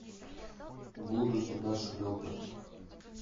буду тебя шлепать